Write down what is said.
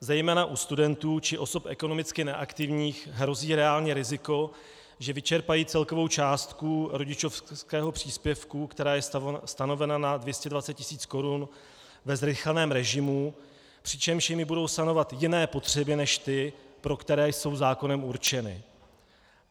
Zejména u studentů či osob ekonomicky neaktivních hrozí reálně riziko, že vyčerpají celkovou částku rodičovského příspěvku, která je stanovena na 220 tis. korun, ve zrychleném režimu, přičemž jimi budou sanovat jiné potřeby než ty, pro které jsou zákonem určeny.